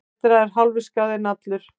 Betra er hálfur skaði en allur.